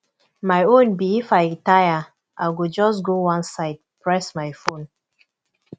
my own be if i tire i go just go one side press my phone